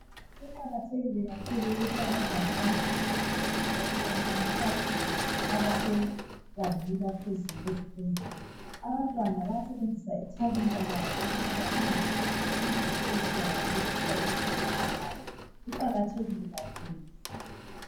Kuqakathekile kakhulu ukuthi abantwana baziveze besasebancane. lkakhulu abasebangeni laphezulu, ezifundweni ephezulu. Abantwana bayalungisa ithalenta labo lokuthi balungise izinto ezizabasiza empilweni. Kuqakathekile kakhulu!